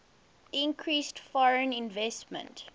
increased foreign investment